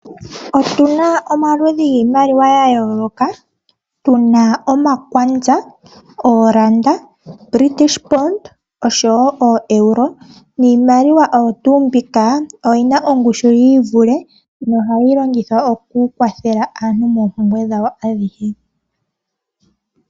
Otuna omaludhi giimaliwa ya yooloka tuna omakwalya ooranda, British pond, oshowo oEuro niimaliwa oyina ongushu yiivule nohayi longithwa oku kwathela aantu moompumbwe dhawo.